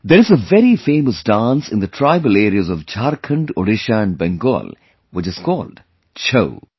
There is a very famous dance in the tribal areas of Jharkhand, Odisha and Bengal which is called 'Chhau'